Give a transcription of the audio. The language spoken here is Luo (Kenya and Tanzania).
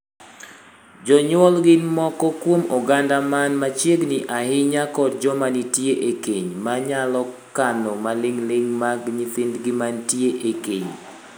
Jonyuol gin moko kuom oganda man machiegni ahinya kod joma nitie e keny, ma nyalo kano maling'ling' mag nyithindgi mantie e keny.